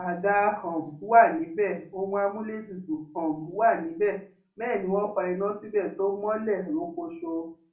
àga um wà níbẹ ohun amúlétutù um wa níbẹ bẹẹ ni wọn fa iná síbẹ tó mọlẹ rokoṣo